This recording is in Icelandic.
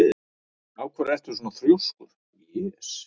Af hverju ertu svona þrjóskur, Jes?